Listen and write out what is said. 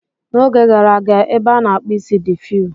N'oge gara aga, ebe a na-akpụ isi dị few.